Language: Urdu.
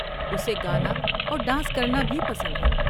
اسے گانا اور ڈانس کرنا بھی پسند ہے۔